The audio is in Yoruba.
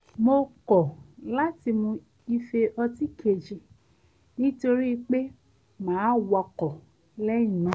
mo kọ̀ láti mu ife ọtí kejì nítorí pé màá wakọ̀ lé̩yìn náà